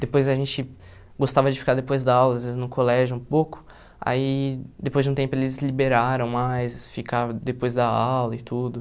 Depois a gente gostava de ficar depois da aula, às vezes no colégio um pouco, aí depois de um tempo eles liberaram mais, ficava depois da aula e tudo.